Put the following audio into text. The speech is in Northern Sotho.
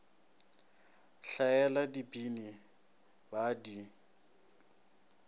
hlaela dibini ba a di